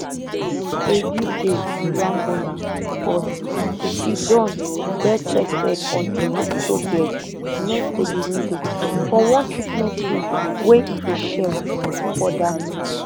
egide irambona forty siddon barechested on im hospital bed next to di window for one treatment room wey e dey share wit two oda men